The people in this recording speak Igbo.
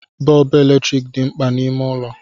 Bọọbụ eletrik dị mkpa n'ime ụlọ